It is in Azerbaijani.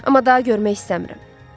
Amma daha görmək istəmirəm.